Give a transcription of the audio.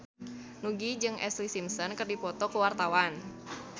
Nugie jeung Ashlee Simpson keur dipoto ku wartawan